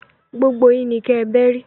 Gbógbó yin ni kè bèri